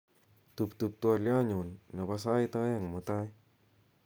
tuptup twolyonyun nebo sait oeng mutai